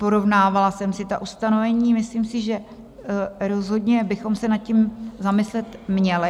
Porovnávala jsem si ta ustanovení, myslím si, že rozhodně bychom se nad tím zamyslet měli.